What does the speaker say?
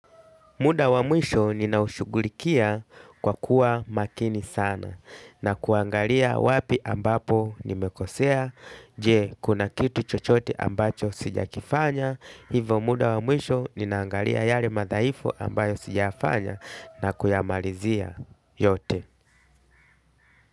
Muda wa mwisho ninaushughulikia kwa kuwa makini sana na kuangalia wapi ambapo nimekosea, je, kuna kitu chochote ambacho sijakifanya, hivyo muda wa mwisho ninaangalia yale madhaifu ambayo sijayafanya na kuyamalizia yote.